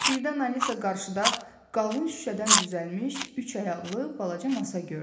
Birdən Alisa qarşıda qalın şüşədən düzəlmiş üç ayaqlı balaca masa gördü.